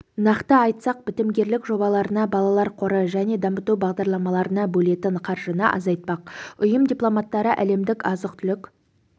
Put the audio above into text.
нақты айтсақ бітімгерлік жобаларына балалар қоры және дамыту бағдарламаларына бөлетін қаржыны азайтпақ ұйым дипломаттары әлемдік азық-түлік